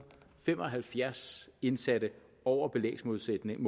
fem og halvfjerds indsatte over belægsmålsætningen